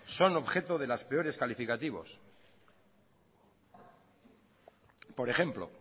son objeto de los peores calificativos por ejemplo